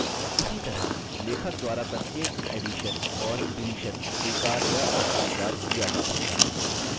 इसी तरह लेखक द्वारा प्रत्येक एडिशन और डिलीशन स्वीकार या अस्वीकार किया जा सकता है